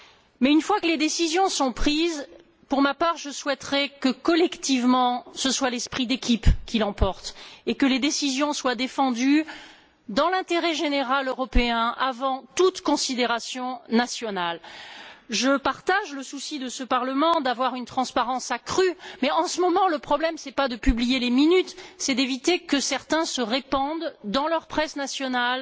Mais une fois que les décisions sont prises, je souhaiterais, pour ma part, que, collectivement, ce soit l'esprit d'équipe qui l'emporte et que les décisions soient défendues dans l'intérêt général européen avant toute considération nationale. Je partage le souci de ce Parlement d'avoir une transparence accrue mais, en ce moment, le problème n'est pas de publier les procès verbaux, c'est d'éviter que certains se répandent, dans leur presse nationale,